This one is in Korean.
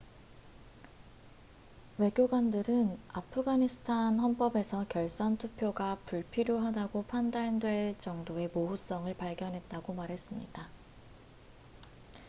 외교관들은 아프가니스탄 헌법에서 결선 투표가 불필요하다고 판단될 정도의 모호성을 발견했다고 말했습니다